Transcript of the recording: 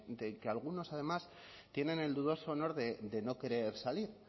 del que algunos además tienen el dudoso honor de no querer salir